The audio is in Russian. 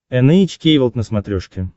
эн эйч кей волд на смотрешке